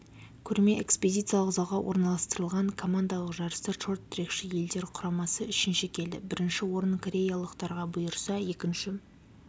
көрме экспозициялық залға орналастырылған командалық жарыста шорт-трекші йелдер құрамасы үшінші келді бірінші орын кореялықтарға бұйырса екінші